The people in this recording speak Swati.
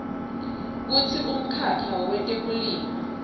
kutsi umkhakha wetekulima